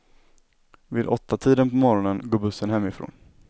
Vid åttatiden på morgonen går bussen hemifrån.